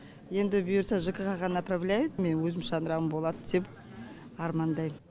енді бұйыртса жк ға направляет мені өзімнің шаңырағым болады деп армандаймын